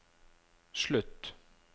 slutt